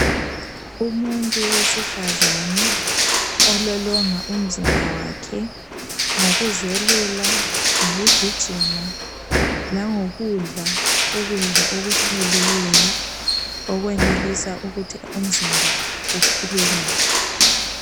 Umuntu wesifazani ololonga umzimba wakhe ngokuzelula , ngokugijima lango kudla ukudla okuhloliweyo. Okwenelisa ukuthi umzimba uphile kahle.